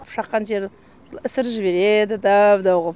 шаққан жерін ісіріп жібереді дәу дәу ғып